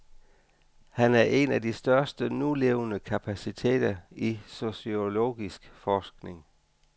Han er en af de største nulevende kapaciteter i sociologisk forskning.